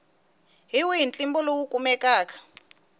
hi wihi ntlimbo lowu kumekaka